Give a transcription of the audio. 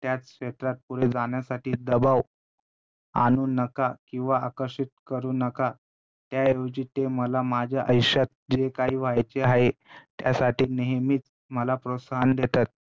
त्याच क्षेत्रात पुढे जाण्यासाठी दबाव आणू नका किंवा आकर्षित करू नका त्याऐवजी ते मला माझ्या आयुष्यात जे काही व्हायचे आहे. त्यासाठी नेहमीच मला प्रोत्साहन देतात.